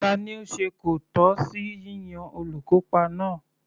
Tani ó se kòtọ́ sí yíyan olùkópa náà?